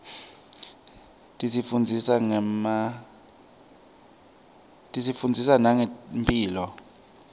tisifundzisa nangemphilo